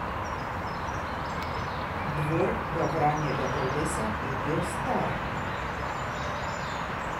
Dvor Gavranjega drevesa je bil star.